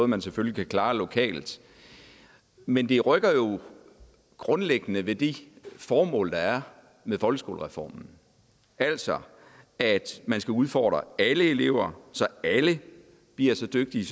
man selvfølgelig kan klare lokalt men det rykker jo grundlæggende ved de formål der er med folkeskolereformen altså at man skal udfordre alle elever så alle bliver så dygtige